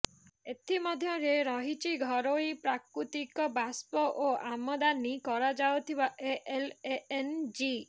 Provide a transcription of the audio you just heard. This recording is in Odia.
ଏଥି ମଧ୍ୟରେ ରହିଛି ଘରୋଇ ପ୍ରାକୃତିକ ବାଷ୍ପ ଓ ଆମଦାନି କରାଯାଉଥିବା ଏଲଏନଜି